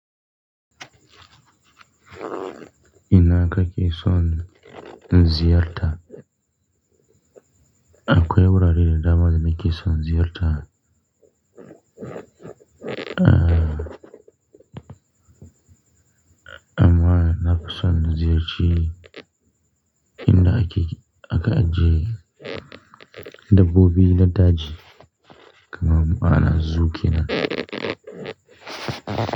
Ina haka ke son ziyarta? Akwai wurare da dama da nake son ziyarta. Ah, amma na fi son ziyarci inda ake, aka ajiye dabbobi na daji kamar ma'ana zu kenan.